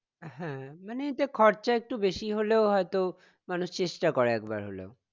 হ্যাঁ মানে এতে খরচা একটু বেশী হলেও হয়ত মানুষ চেষ্টা করে একবার হলেও